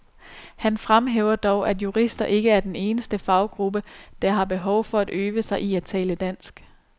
Han fremhæver dog, at jurister ikke er den eneste faggruppe, der har behov for at øve sig i at tale dansk.